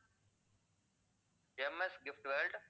M. S. Gift world